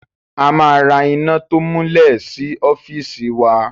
A ma ra iná to múlẹ̀ sí ọ́fìsì wa.